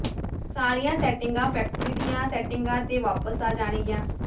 ਸਾਰੀਆਂ ਸੈਟਿੰਗਾਂ ਫੈਕਟਰੀ ਦੀਆਂ ਸੈਟਿੰਗਾਂ ਤੇ ਵਾਪਸ ਆ ਜਾਣਗੀਆਂ